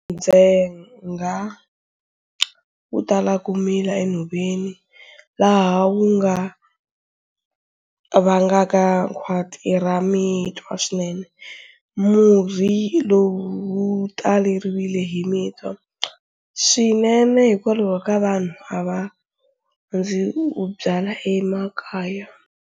Ndzhenga wu tala ku mila enhoveni, laha wu nga vangaka khwati ra mitwa swinene. Murhi lowu wu taleriwile hi mitwa swinene hikwalaho ka vanhu a va rhandzi wu byala emakaya.